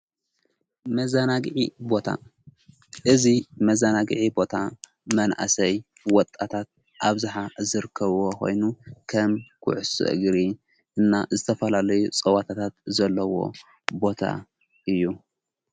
መዛናግዒ ቦታ እዚ መዛናግዒ ቦታ መንእሰይ ወጣታት ኣብዝሓ ዝርከብ ኾይኑ ከም ዂዕሶእግሪ እና ዝተፈላለዩ ጸዋታታት ዘለዎ ቦታ እዩ።